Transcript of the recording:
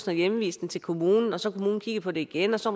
har henvist den til kommunen og så har kommunen kigget på det igen og så